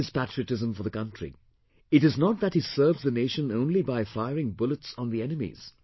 See his patriotism for the country; it is not that he serves the nation only by firing bullets on the enemies